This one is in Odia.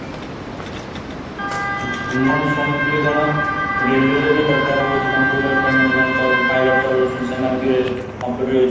ଆଚ୍ଛା ମୁଁ ସୁଣିଥିଲି କ'ଣ relay ରେ ଦରକାର ହଉଚି computer କାରଣ ଯୋଉମାନେ pilot ଚଳାଉଛନ୍ତି ସେମାନେବି computer